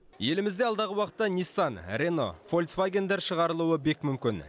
елімізде алдағы уақытта ниссан рено волксвагендер шығарылуы бек мүмкін